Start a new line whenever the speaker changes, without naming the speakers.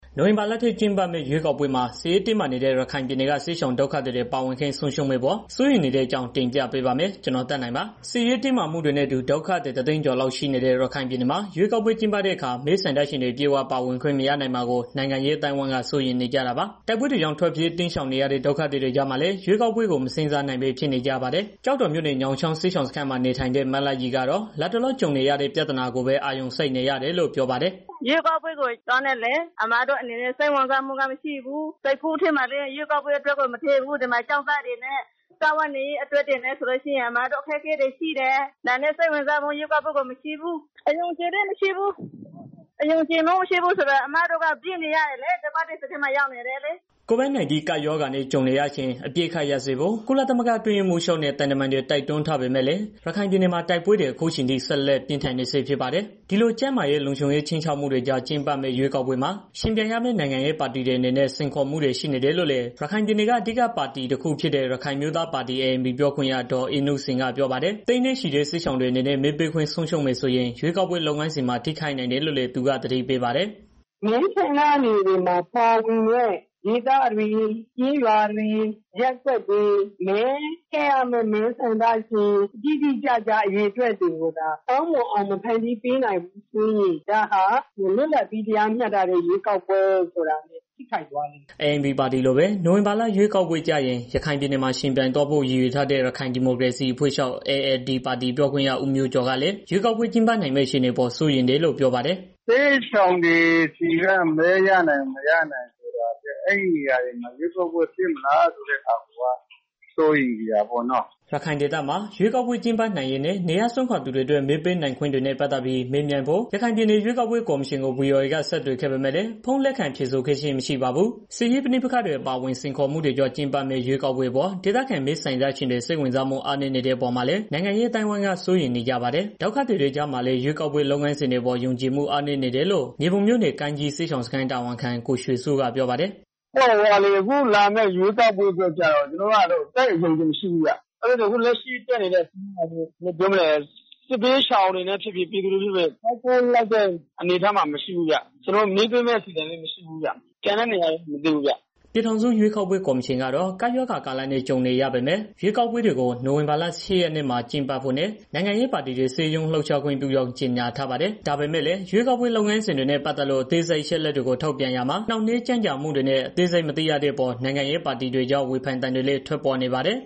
နိုဝင်ဘာလထဲ ကျင်းပမယ့် ရွေးကောက်ပွဲမှာ စစ်ရေးတင်းမာနေတဲ့ ရခိုင်ပြည်နယ်က စစ်ရှောင်ဒုက္ခသည်တွေ ပါဝင်ခွင့် ဆုံးရှုံးမယ့်အပေါ် စိုးရိမ်နေတဲ့အကြောင်းကို ဗွီအိုအေမြန်မာပိုင်းသတင်းထောက် ကိုသက်နိုင်က တင်ပြပေးပါမယ်။ စစ်ရေးတင်မာမှုတွေနဲ့အတူ ဒုက္ခသည် ၁၀၀,၀၀၀ ကျော်လောက် ရှိနေတဲ့ ရခိုင်ပြည်နယ်မှာ ရွေးကောက်ပွဲ ကျင်းပတဲ့အခါ မဲဆန္ဒရှင်တွေ အပြည့်အ၀ ပါဝင်ခွင့်မရနိုင်မှာကို နိုင်ငံရေး အသိုင်းအဝန်းက စိုးရိမ်နေကြတာပါ။ တိုက်ပွဲတွေကြောင့် ထွက်ပြေးတိမ်းရှောင်နေရတဲ့ ဒုက္ခသည်တွေကြားမှာလည်း ရွေးကောက်ပွဲကို မစဉ်းစားနိုင်ဘဲ ဖြစ်နေကြပါတယ်။ ကျောက်တော်မြို့နယ် ညောင်ချောင်း စစ်ရှောင်စခန်းမှာ နေထိုင်တဲ့ မလှရီကတော့ လတ်တလော ကြုံနေရတဲ့ ပြဿနာကိုပဲ အာရုံစိုက်နေရတယ်လို့ ပြောပါတယ်။ "အမတို့အနေနဲ့ ရွေးကောက်ပွဲကို စိတ်ဝင်စားမှု မရှိဘူး၊ စိတ်ကူးထဲမှာလည်း မရှိဘူး။ ဒီမှာ ကျောင်းသားတွေနဲ့ စားဝတ်နေရေး အတွက်နဲ့ဆိုရင် ကျမတို့မှာ အခက်အခဲ ရှိတယ်။ ဒါနဲ့ ရွေးကောက်ပွဲကို စိတ်ဝင်စားမှု မရှိဘူး၊ အယုံအကြည်လည်း မရှိဘူး။ အယုံအကြည်မရှိဘူးဆိုတာက ကျမတို့က ပြေးနေရတာ ဒုက္ခသည်စခန်းမှာ နေနေရတာလေ။" COVID-19 ကပ်ရောဂါနဲ့ ကြုံနေရချိန် အပစ်အခတ်ရပ်စဲဖို့ ကုလသမဂ္ဂ အတွင်းရေးမှူးချုပ်နဲ့ သံတမန်တွေ တိုက်တွန်းထားပေမဲ့လည်း ရခိုင်ပြည်နယ်မှာ တိုက်ပွဲတွေ အခုအထိ ဆက်လက်ပြင်း ထန်နေဆဲဖြစ်ပါတယ်။ ဒီလို ကျန်းမာရေး၊ လုံခြုံရေးခြိမ်းခြောက်မှုတွေကြား ကျင်းပမယ့် ရွေးကောက်ပွဲမှာ ယှဉ်ပြိုင်ရမယ့် နိုင်ငံရေးပါတီတွေအနေနဲ့ စိန်ခေါ်မှုတွေ ရှိနေတယ်လို့လည်း ရခိုင်ပြည်နယ်က အဓိက နိုင်ငံရေးပါတီတစ်ခုဖြစ်တဲ့ ရခိုင်အမျိုးသားပါတီ ANP ပြောခွင့်ရ ဒေါ်အေးနုစိန် ကပြောပါတယ်။ သိန်းနဲ့ချီတဲ့ စစ်ရှောင်တွေအနေနဲ့ မဲပေးခွင့် ဆုံးရှုံးမယ်ဆိုရင် ရွေးကောက်ပွဲ လုပ်ငန်းစဉ်မှာ ထိခိုက်နိုင်တယ်လို့လည်း သူက သတိပေးပါတယ်။ "မဲဆန္ဒနယ်တွေမှာ ပါဝင်တဲ့ မြို့ရွာတယ် ရပ်ကွက်တွေ မဲထည့်ရမယ့် မဲဆန္ဒရှင်တွေ တိတိကျကျ အရေအတွက်တွေကိုသာ ကောင်မွန်အောင် မဖန်တီးပေးနိုင်ဘူးဆိုရင် ဒါဟာ လွတ်လပ်ပြီး တရားမျှတတဲ့ ရွေးကောက်ပွဲဆိုတာလည်း ထိခိုက်သွားလိမ့်မယ်။" ANP ပါတီလိုပဲ နိုဝင်ဘာရွေးကောက်ပွဲကျရင် ရခိုင်ပြည်နယ်မှာ ယှဉ်ပြိုင်သွားဖို့ ရည်ရွယ်ထားတဲ့ ရခိုင်ဒီမိုကရေစီအဖွဲ့ချုပ် ALD ပါတီ ပြောခွင့်ရ ဦးမျိုးကျော်ကလည်း ရွေးကောက်ပွဲ ကျင်းပနိုင်မယ့် အခြေအနေအပေါ် စိုးရိမ်တယ်လို့ ပြောပါတယ်။ "စစ်ရှောင်တွေ ဆီက မဲရနိုင်မလား၊ မရနိုင်ဘူးလား ဆိုတာထက် အဲဒီဒေသတွေမှာ ရွေးကောက်ပွဲ ကျင်းပနိုင်မလားဆိုတာကို ပိုပြီးတော့ စိုးရိမ်နေတာပေါ့နော်။" ရခိုင်ဒေသမှာ ရွေးကောက်ပွဲကျင်းပနိုင်ရေး နေရပ်စွန့်ခွာသူတွေအတွက်မဲနိုင်ခွင့်တွေနဲ့ ပတ်သတ်ပြီး မေးမြန်းဖို့ ရခိုင်ပြည်နယ် ရွေးကောက်ပွဲကော်မရှင်ကို ဗွီအိုအေက ဆက်သွယ်ခဲ့ပေမဲ့လည်း ဖုန်းလက်ခံဖြေဆိုခဲ့ခြင်း မရှိပါဘူး။ စစ်ရေးပဋိပက္ခတွေ အပါအဝင် စိန်ခေါ်မှုတွေကြား ကျင်းပမယ့် ရွေးကောက်ပွဲအပေါ် ဒေသခံမဲဆန္ဒရှင်တွေ စိတ်ဝင်စားမှု အားနည်းနေတဲ့ အပေါ်မှာလည်း နိုင်ငံရေး အသိုင်းအဝန်းက စိုးရိမ်နေကြပါတယ်။ ဒုက္ခသည်တွေကြားမှာလည်း ရွေးကောက်ပွဲ လုပ်ငန်းစဉ်အပေါ် ယုံကြည်မှု အားနည်းနေတယ်လို့ မြေပုံမြို့နယ် ကိုင်းကြီးစစ်ရှောင်စခန်း တာဝန်ခံ ကိုရွှေစိုးကပြောပါတယ်။ "အခုလာမယ့် ရွေးကောက်ပွဲကိုကျတော့ ကျနော်တို့က သိပ်အယုံအကြည် မရှိဘူးဗျာ။ အခုတက်နေတဲ့ အစိုးရကလည်း စစ်ရှောင်တွေနဲ့ ပတ်သတ်ပြီး အားကိုးလောက်တဲ့ အနေအထားမှာမရှိတော့ လာမယ့် ရွေးကောက်ပွဲမှာလည်း မဲပေးဖို့ အစီအစဉ်မရှိဘူး။ ကျန်တဲ့နေရာတော့ မသိဘူးဗျ။" ပြည်ထောင်စု ရွေးကောက်ပွဲ ကော်မရှင်ကတော့ ကပ်ရောဂါကာလနဲ့ ကြုံနေရပေမဲ့ ရွေးကောက်ပွဲတွေကို နိုဝင်ဘာလ ၈ ရက်နေ့မှာ ကျင်းပဖို့နဲ့ နိုင်ငံရေးပါတီတွေ စည်းရုံးလှုပ်ရှားခွင့်ပြုကြောင်း ကြေညာထားပါတယ်။ ဒါပေမဲ့လည်း ရွေးကောက်ပွဲ လုပ်ငန်းစဉ်တွေနဲ့ ပတ်သက်လို့ အသေးစိတ် အချက်အလက်တွေကို ထုတ်ပြန်ရာမှာ နှောင့်နှေးကြန့်ကြာမှုတွေနဲ့ အသေးစိတ် မသိရသေးတဲ့အပေါ် နိုင်ငံရေးပါတီတွေကြား ဝေဖန်သံတွေလည်း ထွက်ပေါ်နေပါတယ်